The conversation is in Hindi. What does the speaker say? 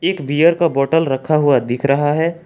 एक बियर का बॉटल रखा हुआ दिख रहा है।